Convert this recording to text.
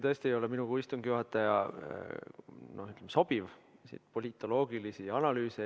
Tõesti, minul kui istungi juhatajal ei sobi esitada saadikutele politoloogilisi analüüse.